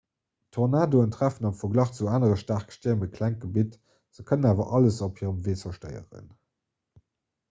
tornadoe treffen am verglach zu anere staarke stierm e kleng gebitt se kënnen awer alles op hirem wee zerstéieren